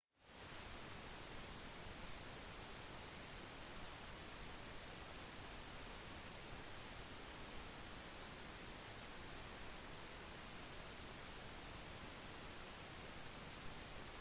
perkhemahan kereta tidak mustahil jika anda mempunyai minivan yang besar suv sedan atau station wagon dengan kerusi yang boleh baring